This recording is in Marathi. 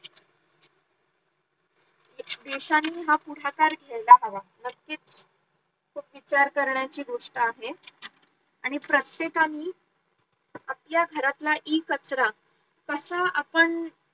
देशांनी हा पुढाकार घ्यायला हवा नक्कीच खूप विचार करण्याची गोष्ट आहे आणि प्रत्येकानि आपल्या घरातला इ कचरा कसा आपण